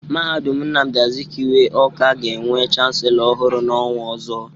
Mahadum Nnamdi Azikiwe, Ọ́ká, ga-enwe chanselọ ọhụrụ n'ọnwa ọzọ.